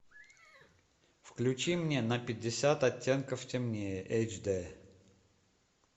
включи мне на пятьдесят оттенков темнее эйч дэ